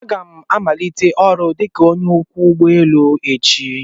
Aga m amanite ọrụ dika onye ọkwọ ụgbọ enu echi